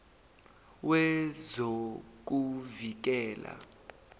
wezokuvikela